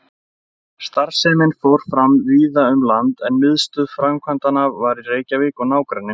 Starfsemin fór fram víða um land, en miðstöð framkvæmdanna var í Reykjavík og nágrenni.